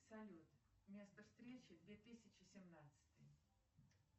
салют место встречи две тысячи семнадцатый